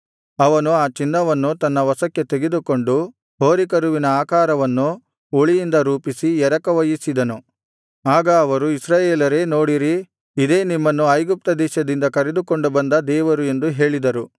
ಅವನು ಆ ಚಿನ್ನವನ್ನು ತನ್ನ ವಶಕ್ಕೆ ತೆಗೆದುಕೊಂಡು ಹೋರಿಕರುವಿನ ಆಕಾರವನ್ನು ಉಳಿಯಿಂದ ರೂಪಿಸಿ ಎರಕ ಹೊಯ್ಯಿಸಿದನು ಆಗ ಅವರು ಇಸ್ರಾಯೇಲರೇ ನೋಡಿರಿ ಇದೇ ನಿಮ್ಮನ್ನು ಐಗುಪ್ತದೇಶದಿಂದ ಕರೆದುಕೊಂಡು ಬಂದ ದೇವರು ಎಂದು ಹೇಳಿದರು